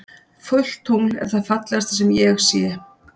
Fullt tungl er það fallegasta sem ég sé.